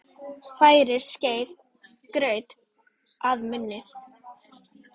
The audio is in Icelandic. Færir skeiðin graut að munni.